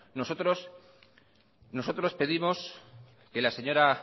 nosotros pedimos que la señora